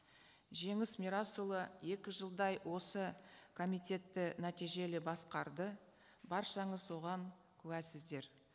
жеңіс мирасұлы екі жылдай осы комитетті нәтижелі басқарды баршаңыз оған куәсіздер